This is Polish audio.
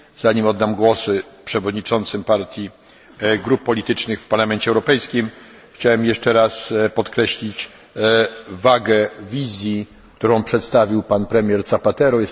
Zanim oddam głos przewodniczącym partii grup politycznych w Parlamencie Europejskim, chciałem jeszcze raz podkreślić wagę wizji, którą przedstawił pan premier Zapatero.